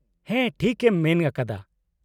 -ᱦᱮᱸ, ᱴᱷᱤᱠ ᱮᱢ ᱢᱮᱱ ᱟᱠᱟᱫᱟ ᱾